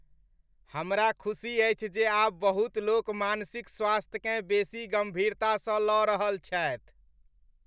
हमरा खुसी अछि जे आब बहुत लोक मानसिक स्वास्थ्यकेँ बेसी गम्भीरतासँ लऽ रहल छथि।